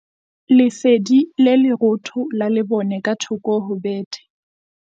Lesedi le lerotho la lebone ka thoko ho bethe.